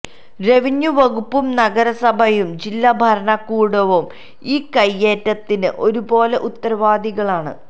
revenue വകുപ്പും നഗരസഭയും ജില്ലാ ഭരണകൂടവും ഇൌ കൈയേറ്റത്തിന് ഒരുപോലെ ഉത്തരവാദികളാണ്